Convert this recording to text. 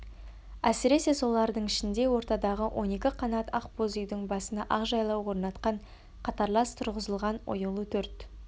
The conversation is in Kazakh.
әсіресе солардың ішінде ортадағы он екі қанат ақ боз үйдің басына ақ жалау орнатқан қатарлас тұрғызылған оюлы төрт